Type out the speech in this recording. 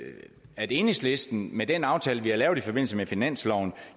at enhedslisten med den aftale vi har lavet i forbindelse med finansloven